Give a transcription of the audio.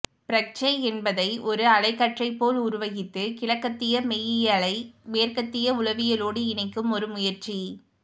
பிரக்ஞை என்பதை ஒரு அலைக்கற்றை போல் உருவகித்து கிழக்கத்திய மெய்யியலை மேற்கத்திய உளவியலோடு இணைக்கும் ஒரு முயற்சி